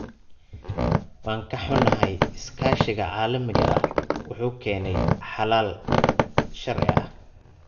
Waan ka xunnahay, iskaashiga caalamiga ah wuxuu keenayaa xalal sharci ah.